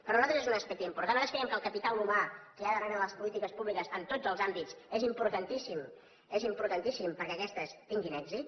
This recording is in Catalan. per nosaltres és un aspecte important nosaltres creiem que el capital humà que hi ha darrere de les polítiques públiques en tots els àmbits és importantíssim perquè aquestes tinguin èxit